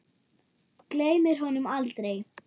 Gleymir honum aldrei.